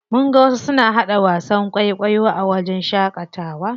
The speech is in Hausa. Mun ga wasu suna haɗa wasan kwaikwayo a wajen shaƙatawa.